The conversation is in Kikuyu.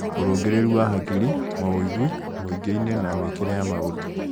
Ũrũngĩrĩru wa hakiri; mawũigui, mũingĩ inĩ, na mĩĩkĩre ya maũndũ